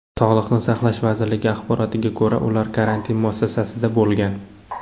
Sog‘liqni saqlash vazirligi axborotiga ko‘ra, ular karantin muassasasida bo‘lgan .